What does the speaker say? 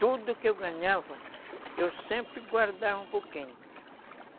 Tudo que eu ganhava, eu sempre guardava um pouquinho.